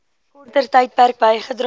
korter tydperk bygedra